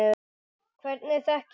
Hvernig þekkist þið?